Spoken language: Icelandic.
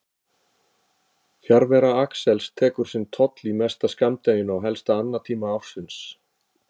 Fjarvera Axels tekur sinn toll, í mesta skammdeginu á helsta annatíma ársins.